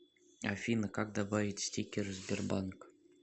афина как добавить стикеры сбербанк